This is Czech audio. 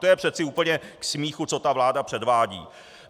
To je přece úplně k smíchu, co ta vláda předvádí.